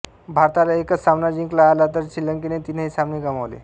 भारताला एकच सामना जिंकला आला तर श्रीलंकेने तीनही सामने गमावले